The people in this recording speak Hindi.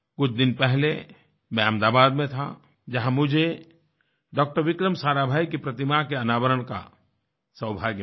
कुछ दिन पहले मैं अहमदाबाद में था जहाँ मुझे डॉक्टर विक्रम साराभाई की प्रतिमा के अनावरण का सौभाग्य मिला